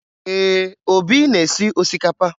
Ee, Obi na-esi osikapa